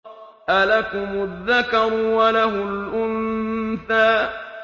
أَلَكُمُ الذَّكَرُ وَلَهُ الْأُنثَىٰ